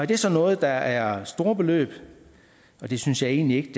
det så noget der er store beløb det synes jeg egentlig ikke